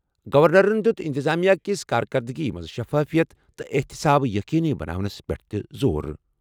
گورنرَن دِیُت انتظامیہ کِس کارکردٕگی منٛز شفافیت تہٕ احتساب یقینی بناونَس پٮ۪ٹھ تہِ زور۔